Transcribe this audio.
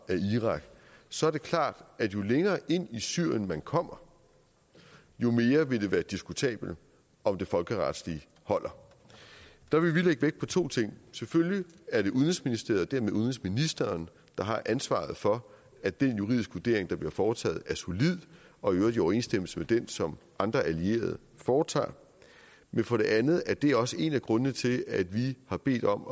af irak så er det klart at jo længere ind i syrien man kommer jo mere vil det være diskutabelt om det folkeretlige holder der vil vi lægge vægt på to ting selvfølgelig er det udenrigsministeriet og dermed udenrigsministeren der har ansvaret for at den juridiske vurdering der bliver foretaget er solid og i øvrigt i overensstemmelse med den som andre allierede foretager men for det andet er det også en af grundene til at vi har bedt om